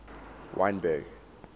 wynberg